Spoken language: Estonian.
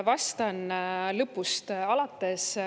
Vastan lõpust alates.